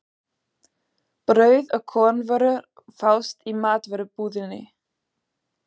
Brauð og kornvörur fást í matvörubúðinni.